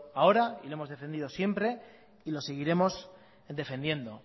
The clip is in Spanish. ahora y lo hemos defendido siempre y lo seguiremos defendiendo